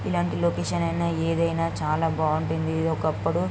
ఇలాంటి లొకేషన్ అయినా ఏదైనా చాలా బాగుంటుంది ఇది ఒకప్పుడు --